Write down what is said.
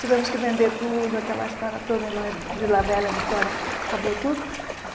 Tivemos que vender tudo, aquela história toda, e lá em Vila Velha, Vitória, acabou tudo.